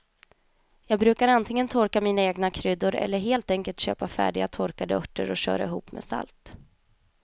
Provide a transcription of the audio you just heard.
Jag brukar antingen torka mina egna kryddor eller helt enkelt köpa färdiga torkade örter och köra ihop med salt.